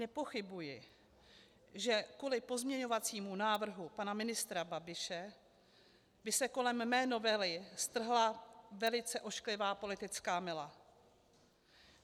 Nepochybuji, že kvůli pozměňovacímu návrhu pana ministra Babiše by se kolem mé novely strhla velice ošklivá politická mela.